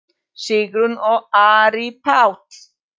Sigrún og Ari Páll.